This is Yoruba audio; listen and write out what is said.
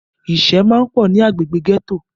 Ìṣẹ́ máà pọ̀ ní agbègbè gẹ́tò.